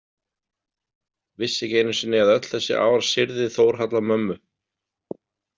Vissi ekki einu sinni að öll þessi ár syrgði Þórhalla mömmu.